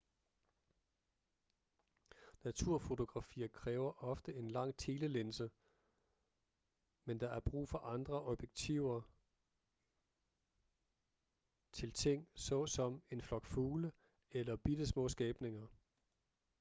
naturfotografier kræver ofte en lang telelinse men der er brug for andre objektiver til ting såsom en flok fugle eller bittesmå skabninger